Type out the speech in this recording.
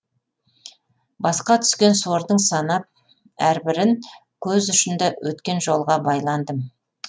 басқа түскен сордың санап әрбірін көз ұшында өткен жолға байландым